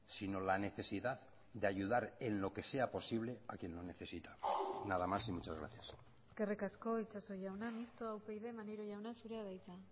sino la necesidad de ayudar en lo que sea posible a quien lo necesita nada más y muchas gracias eskerrik asko itxaso jauna mistoa upyd maneiro jauna zurea da hitza